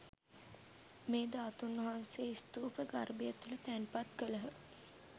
මේ ධාතූන් වහන්සේ ස්තූප ගර්භය තුළ තැන්පත් කළහ.